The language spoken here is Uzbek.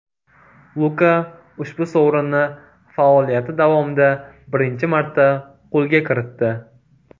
Luka ushbu sovrinni faoliyati davomida birinchi marta qo‘lga kiritdi.